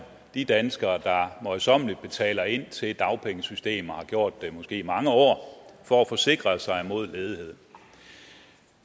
de danskere der møjsommeligt betaler ind til dagpengesystemet og har gjort det i måske mange år for at forsikre sig imod ledighed